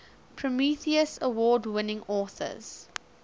prometheus award winning authors